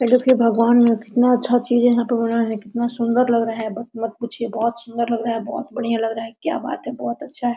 ये दिखाई भगवान यहाँ कितना अच्छा चीज़ यहाँ पर बना है कितना सुन्दर लग रहा है बत मत पूछिए बोहोत सुन्दर लग रहा है बोहोत बढ़िया लग रहा क्या बात है बोहोत अच्छा है।